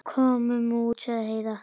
Komum út, sagði Heiða.